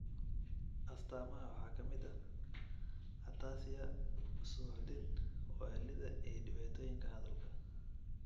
Astaamaha waxaa ka mid ah ataxia, suuxdin, waallida, iyo dhibaatooyinka hadalka.